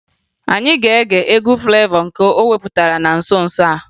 Anyị ga-ege egwu Flevọ nke o wepụtara na nso nso a